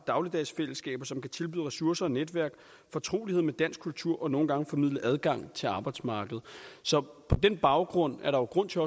dagligdagsfællesskaber som kan tilbyde ressourcer og netværk fortrolighed med dansk kultur og nogle gange formidle adgang til arbejdsmarkedet så på den baggrund er der jo grund til